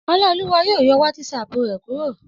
Ọláolúwa yóò yọ wátísapù rẹ̀ kúrò